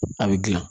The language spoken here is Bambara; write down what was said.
A bɛ gilan